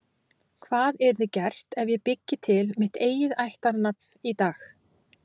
hvað yrði gert ef ég byggi til mitt eigið ættarnafn í dag